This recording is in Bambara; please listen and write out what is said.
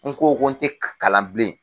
N ko ko n te kalan bilen.